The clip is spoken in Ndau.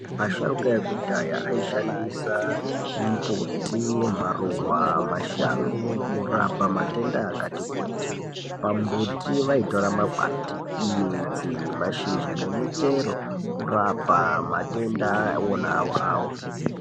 Vasharuka vekudhaya aishandisa mbuti maruwa ,mashango kurapa matenda akati kuti pambuti vaitora makwati ,midzi ,masizha nemuchero kurapa matenda wona awawo. .